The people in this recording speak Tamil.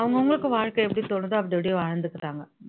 அவங்க அவங்களுக்கு வாழ்க்கை எப்படி தோணுதோ அப்படி அப்படியே வாழ்ந்துக்கிறாங்க